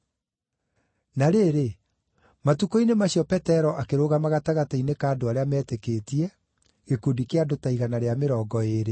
Na rĩrĩ, matukũ-inĩ macio Petero akĩrũgama gatagatĩ-inĩ ka andũ arĩa meetĩkĩtie (gĩkundi kĩa andũ ta igana rĩa mĩrongo ĩĩrĩ),